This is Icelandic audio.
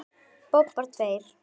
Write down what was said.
Bobbar tveir.